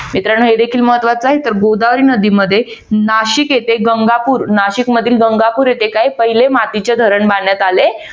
मित्रानो हे देखील महत्वाचं आहे. तर गोदावरी नदीमध्ये नाशिक येथे गंगापूर नाशिकमधील गंगापूर येथे काय पहिले मातीचे धारण बांधण्यात आले